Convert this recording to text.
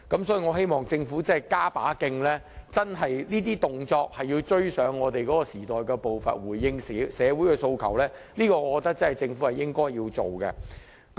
所以，我希望政府加把勁，這些行動要追上時代步伐，回應社會訴求，我覺得這是政府應該做的事情。